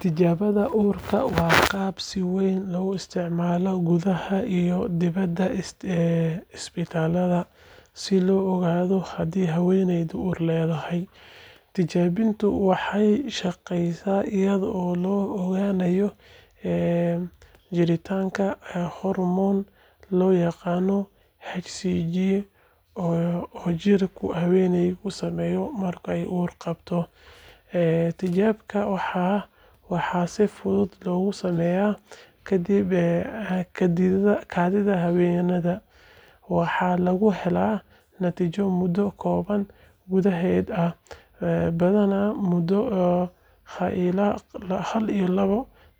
Tijaabada uurka waa qalab si weyn loogu isticmaalo gudaha iyo dibadda isbitaallada si loo ogaado haddii haweeneydu uur leedahay. Tijaabadani waxay shaqeysaa iyadoo lagu ogaanayo jiritaanka hormoon la yiraahdo HCG oo jirka haweeneyda sameeyo marka ay uur qaaddo. Tijaabada waxaa si fudud loogu sameeyaa kaadida haweeneyda, waxaana lagu helaa natiijo muddo kooban gudaheed ah, badanaa muddo hal ilaa labo